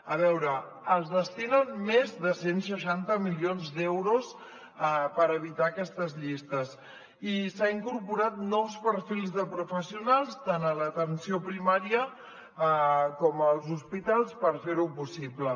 a veure es destinen més de cent i seixanta milions d’euros per evitar aquestes llistes i s’han incorporat nous perfils de professionals tant a l’atenció primària com als hospitals per fer ho possible